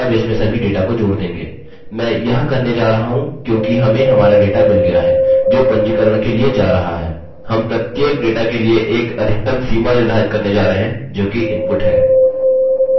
अब हम अपने फुलनेम यूज़रनेम पासवर्ड और रिपीट पासवर्ड के लिए 25 अक्षर मानते हैं अतः अधिकतम वैल्यू 25 है